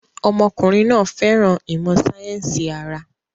Ọmọkùnrin náà fẹ́ràn ìmọ̀ sáyẹ́sì ara.